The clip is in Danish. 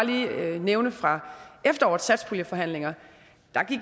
nævne fra efterårets satspuljeforhandlinger